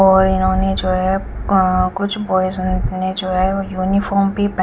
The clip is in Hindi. और इन्होने जो है अ कुछ बॉयज ने जो है यूनिफार्म भी पे--